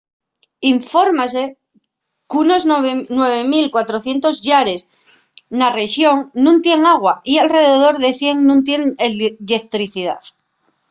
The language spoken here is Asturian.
infórmase qu’unos 9400 llares na rexón nun tienen agua y alredor de 100 nun tienen lletricidá